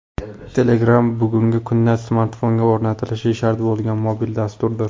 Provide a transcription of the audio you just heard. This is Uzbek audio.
Telegram bugungi kunda smartfonga o‘rnatilishi shart bo‘lgan mobil dasturdir.